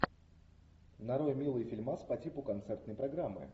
нарой милый фильмас по типу концертной программы